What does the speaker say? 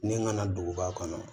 Ne nana duguba kɔnɔ